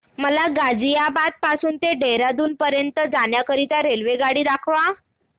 मला गाझियाबाद पासून ते देहराडून पर्यंत जाण्या करीता रेल्वेगाडी दाखवा